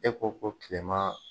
E ko ko kilema